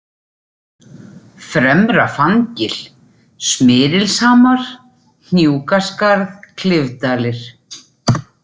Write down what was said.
Fremra-Fanngil, Smyrilshamar, Hnjúkaskarð, Klifdalir